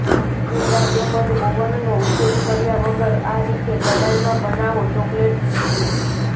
ઈંડા તેમજ ઓવનનો ઉપયોગ કર્યા વગર આ રીતે કડાઈમાં બનાવો ચોકલેટ કૂકીઝ